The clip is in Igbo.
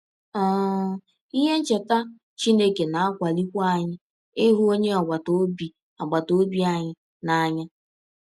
um Ihe ncheta Chineke na - akwalikwa anyị ịhụ ọnye agbata ọbi agbata ọbi anyị n’anya.